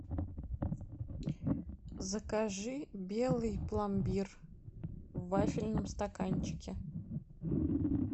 закажи белый пломбир в вафельном стаканчике